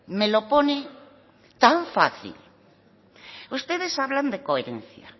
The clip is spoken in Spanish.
me lo pone tan fácil ustedes hablan de coherencia